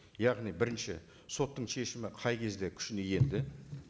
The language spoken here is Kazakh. яғни бірінші соттың шешімі қай кезде күшіне енді